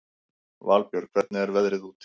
Valbjörg, hvernig er veðrið úti?